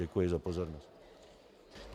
Děkuji za pozornost.